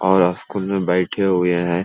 और स्कूल में बैठे हुए हैं।